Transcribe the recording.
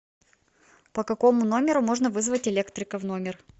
по какому номеру можно вызвать электрика в номер